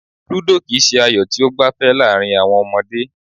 Ludo kì í se ayò tí ó gbafẹ́ láàrin àwọn ọmọdé.